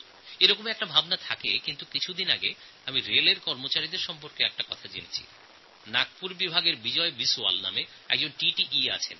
গত কয়েক দিনে রেলের কর্মচারীদের বিষয়ে একটি তথ্য আমার নজরে আসে নাগপুর ডিভিশনে বিজয় বিশওয়াল নামে একট টিটিই আছেন